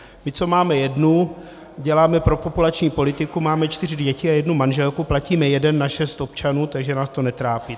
My, co máme jednu, děláme propopulační politiku, máme čtyři děti a jednu manželku, platíme jeden na šest občanů, takže nás to netrápí.